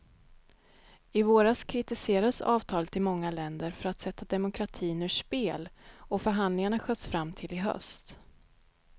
I våras kritiserades avtalet i många länder för att sätta demokratin ur spel, och förhandlingarna sköts fram till i höst.